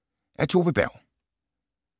Af Tove Berg